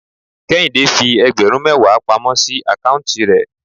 Kéhìndé fi ẹgbẹ̀rún mẹwa pamọ́ sí account rẹ̀.